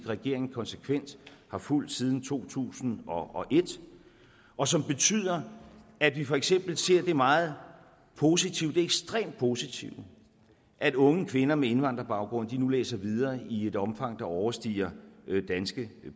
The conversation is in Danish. regeringen konsekvent har fulgt siden to tusind og et og som betyder at vi for eksempel ser det meget positive det ekstremt positive at unge kvinder med indvandrerbaggrund nu læser videre i et omfang der overstiger danske